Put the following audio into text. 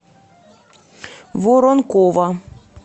воронкова